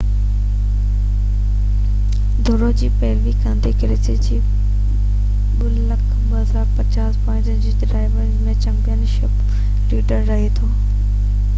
ڊوڙ جي پيروي ڪندي، ڪيسيلسوڪي 2،250 پوائنٽن سان ڊرائيورن جو چيمپين شپ ليڊر رَهي ٿو